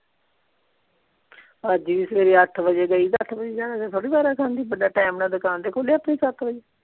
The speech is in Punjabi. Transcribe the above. ਅੱਜ ਵੀ ਸਵੇਰੇ ਅੱਠ ਵਜੇ ਗਈ ਅੱਠ ਵਜੇ ਜਾਂ ਕੇ ਥੋੜਾ ਵਾਰਾ ਖਾਂਦੀ ਬੰਦਾ ਟਾਈਮ ਨਾਲ ਦੁਕਾਨ ਤੇ ਖੋਲੇ ਆਪਣੀ ਸੱਤ ਵਜੇ।